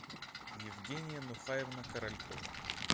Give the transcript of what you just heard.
евгения нухаевна королькова